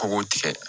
Kɔngɔ tigɛ